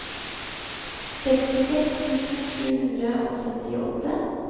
sekstiseks tusen sju hundre og syttiåtte